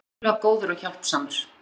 Hann er ótrúlega góður og hjálpsamur.